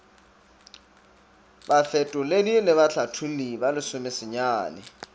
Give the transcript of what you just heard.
bafetoledi le bahlatholli ba lesomesenyane